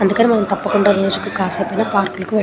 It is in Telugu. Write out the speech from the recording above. అందుకని కాసేపైనా మనం రోజు తపకుండ పార్కులకి వేలాలి .